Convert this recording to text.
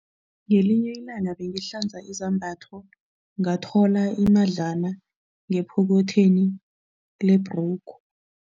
Ngelinye ilanga bengihlanza izambatho ngathola imadlana ngephokothweni lebhrugu.